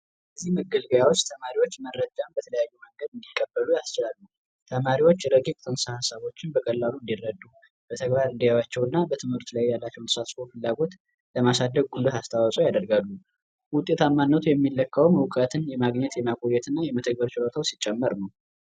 ተማሪዎች መረጃዎችን በስራት እንዲቀበሉ ይረዳል ተማሪዎች ሀሳቦችን በቀላሉ እንዲረዱ በተግባር እንዲያያቸው እና ያላቸውን ተሳትፎ ለማሳደግ ጉልህ አስተዋጽኦ ያደርጋል። እውቀትን የማግኘት ችሎታው የሚለካ እውቀትን የማግኘት ይማ ጉልበት እና የመጠቀም ችሎታው ሲጨምር ነው።